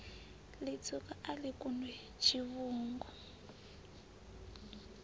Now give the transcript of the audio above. litswuka a li kundwi tshivhungu